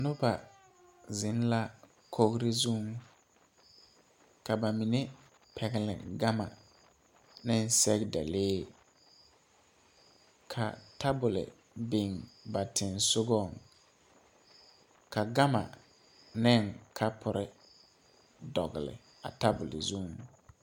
Noba zeŋ la kogre zuŋ ka ba mine pɛgle gamma neŋ sɛgedalee ka tabole biŋ ba tensugɔŋ ka gama ne kapurre dɔgle a tabol zuŋ.